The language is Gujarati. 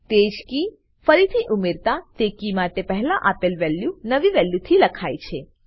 તેજ કી ફરીથી ઉમેરતાતે કી માટે પહેલા આપલે વેલ્યુ નવી વેલ્યુથી લખાય છે